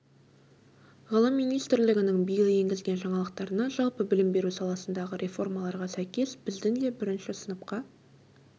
ғылым министрлігінің биыл енгізген жаңалықтарына жалпы білім беру саласындағы реформаларға сәйкес біздің де бірінші сыныпқа